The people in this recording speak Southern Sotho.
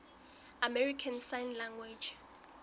american sign language